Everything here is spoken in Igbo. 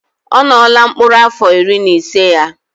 Ọ nọọla mkpọrọ afọ iri na ise ya